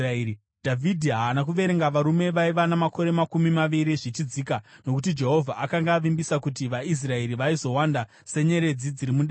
Dhavhidhi haana kuverenga varume vaiva namakore makumi maviri zvichidzika, nokuti Jehovha akanga avimbisa kuti vaIsraeri vaizowanda senyeredzi dziri mudenga.